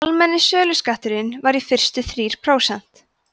almenni söluskatturinn var í fyrstu þrír prósent